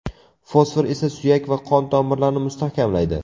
Fosfor esa suyak va qon-tomirlarni mustahkamlaydi.